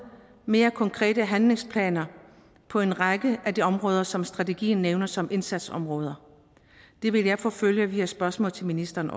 mere konkrete handlingsplaner på en række af de områder som strategien nævner som indsatsområder det vil jeg forfølge via spørgsmål til ministeren